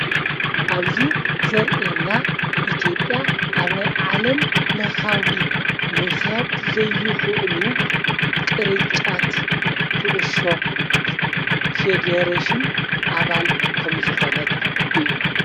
ኣብዙይ ዘርኤና ኢቲዮጲያ ኣብ ናይ ዓለም ለኻዊ ምኽያድ ዘይኽእሉ ቕርጫት ዂዑሾ ፌደሬሽን ኣባል ከምዝኾነት እዩ።